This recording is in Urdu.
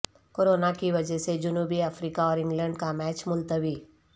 کورونا کی وجہ سے جنوبی افریقہ اور انگلینڈ کا میچ ملتوی